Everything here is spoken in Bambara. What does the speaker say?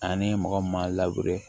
Ani mɔgɔ min m'a